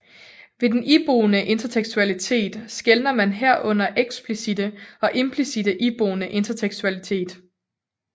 Ved den iboende intertekstualitet skelner man herunder eksplicitte og implicitte iboende intertekstualitet